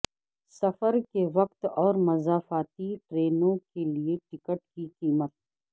سفر کے وقت اور مضافاتی ٹرینوں کے لئے ٹکٹ کی قیمت